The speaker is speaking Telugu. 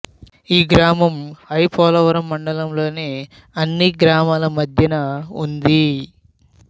ఈ గ్రామం ఐ పోలవరం మండలంలోని అన్ని గ్రామాల మధ్యన ఉంది